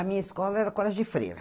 A minha escola era a colégio de Freira.